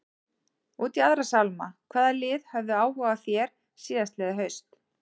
Út í aðra sálma, hvaða lið höfðu áhuga á þér síðastliðið haust?